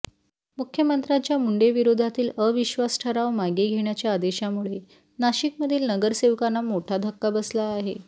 मुख्यमंत्रांच्या मुंढेंविरोधातील अविश्वास ठराव मागे घेण्याच्या आदेशामुळे नाशिकमधील नगरसेवकांना मोठा धक्का बसला आहे